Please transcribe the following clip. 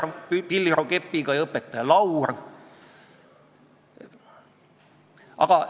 Laine Randjärv ja Viktoria Ladõnskaja-Kubits avaldasid arvamust, et eelnõu seadusena vastuvõtmise korral võib tekkida palju negatiivseid tagajärgi.